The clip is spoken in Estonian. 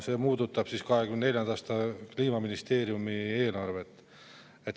See puudutab 2024. aasta Kliimaministeeriumi eelarvet.